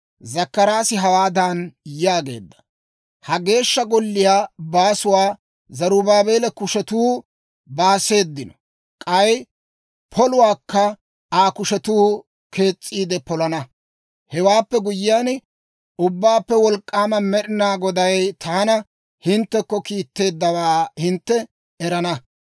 Zakkaraasi hawaadan yaageedda; «Ha Geeshsha Golliyaa baasuwaa Zarubaabeela kushetuu baaseeddino; k'ay poluwaakka Aa kushetuu kees's'iide polana. Hewaappe guyyiyaan, Ubbaappe Wolk'k'aama Med'inaa Goday taana hinttekko kiitteeddawaa hintte erana.